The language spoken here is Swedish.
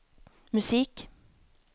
musik